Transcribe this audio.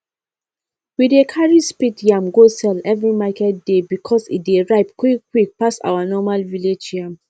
we dey carry speed yam go sell every market day because e dey ripe quickquick pass our normal village yam